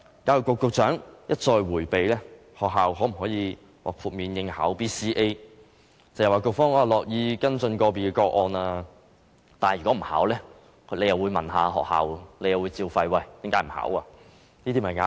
教育局局長一再迴避學校能否獲豁免參加 BCA， 只謂局方樂意跟進個別個案，但如果學校不報考，又會"照肺"，問學校為何不報考，這些便是壓力。